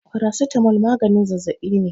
Paracetamol maganin zazzabi ne.